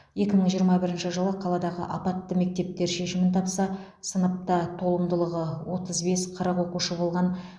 екі мың жиырма бірінші жылы қаладағы апатты мектептер шешімін тапса сыныпта толымдылығы отыз бес қырық оқушы болған